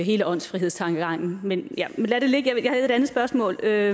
hele åndsfrihedstankegangen men lad det ligge jeg havde det andet spørgsmål ja